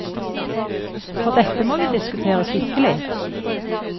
For dette må vi diskutere skikkelig.